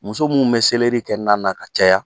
Muso minnu bɛ selɛrii kɛ na na ka caya.